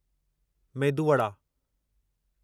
medu vada